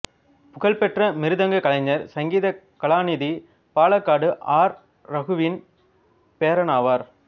புகழ்பெற்ற மிருதங்க கலைஞர் சங்கீத கலாநிதி பாலக்காடு ஆர் ரகுவின் பேரனாவார்